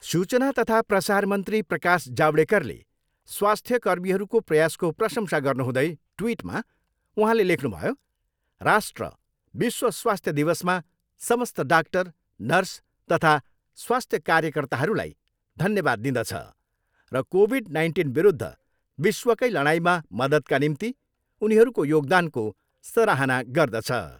सूचना तथा प्रसारमन्त्री प्रकाश जावडेकरले स्वास्थ्य कर्मीहरूको प्रयासको प्रशंसा गर्नुहुँदै ट्विटमा उहाँले लेख्नुभयो राष्ट्र, विश्व स्वास्थ्य दिवसमा समस्त डाक्टर, नर्स तथा स्वास्थ्य कार्यकर्ताहरूलाई धन्यवाद दिदँछ र कोभिड नाइन्टिनविरूद्ध विश्वकै लडाइँमा मद्दतका निम्ति उनीहरूको योगदानको सराहना गर्दछ।